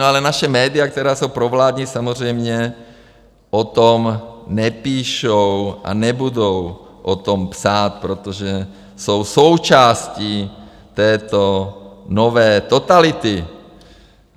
No, ale naše média, která jsou provládní, samozřejmě o tom nepíšou a nebudou o tom psát, protože jsou součástí této nové totality.